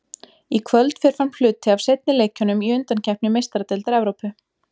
Í kvöld fer fram hluti af seinni leikjunum í undankeppni Meistaradeildar Evrópu.